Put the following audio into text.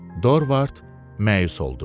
Dorvard məyus oldu.